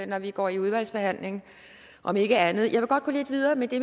når vi går i udvalgsbehandling om ikke andet jeg vil godt gå lidt videre med det